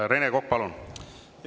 Rene Kokk, palun!